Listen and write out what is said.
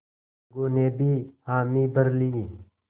अलगू ने भी हामी भर ली